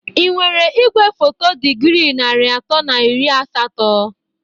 Ị nwere igwefoto dịgrị nari atọ na iri asatọ?